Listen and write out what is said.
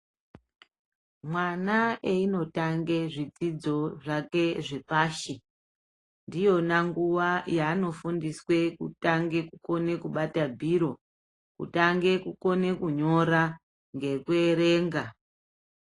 Mwana eindotanga zvidzidzo zvake zvepashi ndiyona nguva yanofundiswe kutange kukona kubate bhiro kutange kukona kunyora nekuerenga.